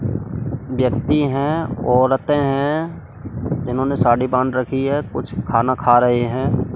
व्यक्ति हैं औरतें हैं जिन्होंने साड़ी बांध रखी है कुछ खाना खा रही हैं।